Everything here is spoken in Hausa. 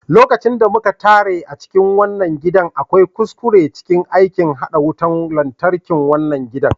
Lokacin da muka tare a cikin wannan gidan, akwai kuskure cikin aikin haɗa wutan lantarkin gidan.